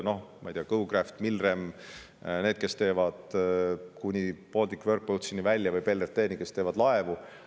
Noh, ma ei tea, GoCraft, Milrem, kuni Baltic Work Boatsi või BLRT-ni välja, kes teevad laevu.